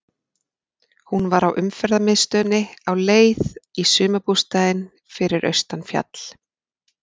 Hún var á umferðamiðstöðinni á leið í sumarbústaðinn fyrir austan fjall.